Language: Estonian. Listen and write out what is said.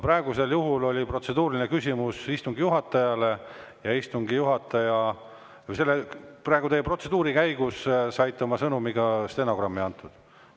Praegusel juhul oli protseduuriline küsimus istungi juhatajale ja selle protseduuri käigus sai teie sõnum ka stenogrammi.